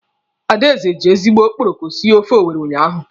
Adaeze ji ezigbo okporoko sie ofe Owere unyaahụ.